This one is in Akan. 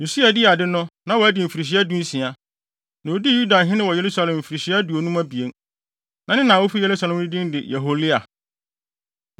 Usia dii ade no, na wadi mfirihyia dunsia, na odii hene wɔ Yerusalem mfirihyia aduonum abien. Na ne na a ofi Yerusalem no din de Yeholia.